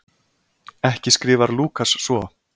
Ekki skrifar Lúkas svo.